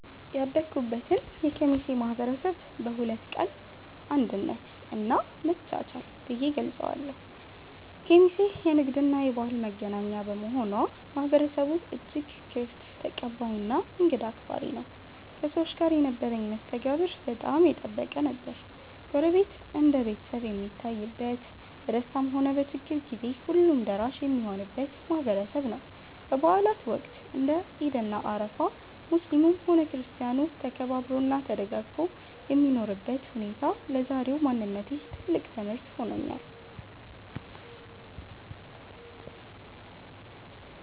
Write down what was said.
ያደኩበትን የኬሚሴ ማህበረሰብ በሁለት ቃላት "አንድነት" እና "መቻቻል" ብዬ እገልጸዋለሁ። ኬሚሴ የንግድና የባህል መገናኛ በመሆኗ፣ ማህበረሰቡ እጅግ ክፍት፣ ተቀባይና እንግዳ አክባሪ ነው። ከሰዎች ጋር የነበረኝ መስተጋብር በጣም የጠበቀ ነበር። ጎረቤት እንደ ቤተሰብ የሚታይበት፣ በደስታም ሆነ በችግር ጊዜ ሁሉም ደራሽ የሚሆንበት ማህበረሰብ ነው። በበዓላት ወቅት (እንደ ዒድ እና አረፋ) ሙስሊሙም ሆነ ክርስቲያኑ ተከባብሮና ተደጋግፎ የሚኖርበት ሁኔታ ለዛሬው ማንነቴ ትልቅ ትምህርት ሆኖኛል።